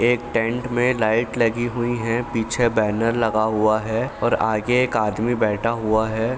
एक टेंट में लाइट लगी हुई हैं। पीछे बैनर लगा हुआ है और आगे एक आदमी बैठा हुआ है।